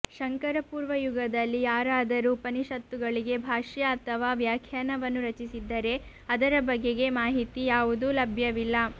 ಶಂಕರ ಪೂರ್ವ ಯುಗದಲ್ಲಿ ಯಾರಾದರೂ ಉಪನಿಷತ್ತುಗಳಿಗೆ ಭಾಷ್ಯ ಆಥವಾ ವ್ಯಾಖ್ಯಾನ ವನ್ನು ರಚಿಸಿದ್ದರೆ ಅದರ ಬಗೆಗೆ ಮಾಹಿತಿ ಯಾವುದೂ ಲಭ್ಯವಿಲ್ಲ